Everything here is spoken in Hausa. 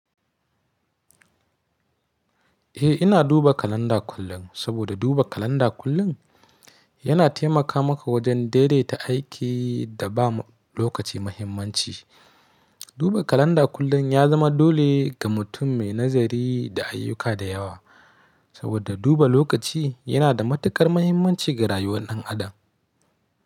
Eh ina duba kalanda kullum, saboda duba kalanda kullum yana taimaka maka wajen daidaita aiki da ba lokaci muhimmanci. Duba kalanda kullum ya zama dole ga mutum mai nazari da ayyuka da yawa, saboda duba lokaci yana da matukar muhimmanci ga rayuwar ɗan adam.